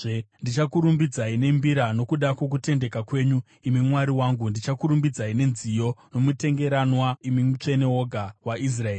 Ndichakurumbidzai nembira nokuda kwokutendeka kwenyu, imi Mwari wangu; ndichakurumbidzai nenziyo nomutengeranwa, imi Mutsvene woga waIsraeri.